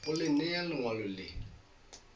go le nea lengwalo le